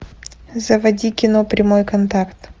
заводи кино прямой контакт